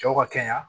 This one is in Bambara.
Cɛw ka kɛnɛya